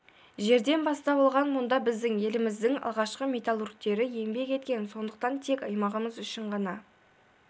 жерден бастау алған мұнда біздің еліміздің алғашқы металлургтері еңбек еткен сондықтан тек аймағымыз үшін ғана